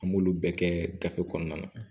An b'olu bɛɛ kɛ gafe kɔnɔna na